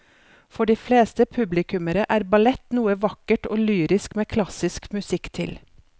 For de fleste publikummere er ballett noe vakkert og lyrisk med klassisk musikk til.